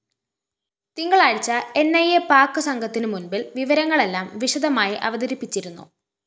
തിങ്കളാഴ്ച ന്‌ ഇ അ പാക് സംഘത്തിനു മുന്‍പില്‍ വിവരങ്ങളെല്ലാം വിശദമായി അവതരിപ്പിച്ചിരുന്നു